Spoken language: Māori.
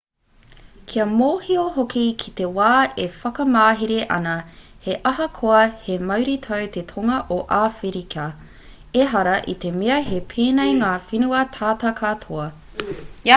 kia mōhio hoki i te wā e whakamāhere ana he ahakoa he mauritau te tonga o awherika ehara i te mea he pēnei ngā whenua tata katoa